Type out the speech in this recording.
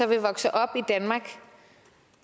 vil vokse op i danmark